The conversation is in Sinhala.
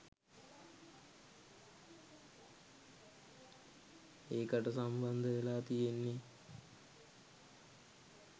ඒකට සම්බන්ධවෙලා තියෙන්නේ